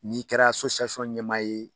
N'i kɛra ɲɛmaa ye